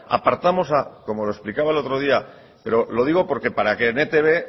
apartamos a como lo explicaba otro día pero lo digo porque para que en etb